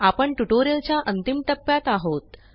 आपण ट्युटोरियलच्या अंतिम टप्प्यात आहोत